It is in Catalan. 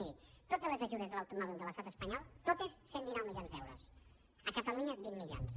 miri totes les ajudes de l’automòbil de l’estat espanyol totes cent i dinou milions d’euros a catalunya vint milions